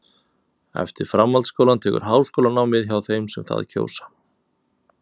eftir framhaldsskólann tekur háskólanám við hjá þeim sem það kjósa